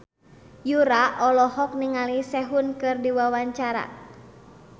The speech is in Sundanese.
Yura olohok ningali Sehun keur diwawancara